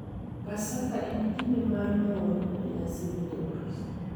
Paska en kinde mar mor kod nyasi ne Jokristo,